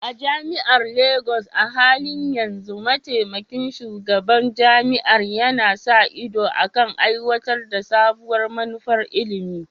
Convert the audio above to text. A jami'ar Legas, a halin yanzu Mataimakin Shugaban Jami'ar yana sa ido kan aiwatar da sabuwar manufar ilimi.